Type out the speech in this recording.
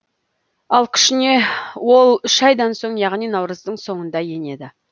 ал күшіне ол үш айдан соң яғни наурыздың соңында енеді